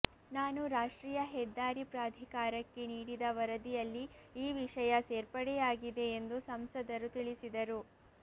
ನಾನು ರಾಷ್ಟ್ರೀಯ ಹೆದ್ದಾರಿ ಪ್ರಾಧಿಕಾರಕ್ಕೆ ನೀಡಿದ ವರದಿಯಲ್ಲಿ ಈ ವಿಷಯ ಸೇರ್ಪಡೆಯಾಗಿದೆ ಎಂದು ಸಂಸದರು ತಿಳಿಸಿದರು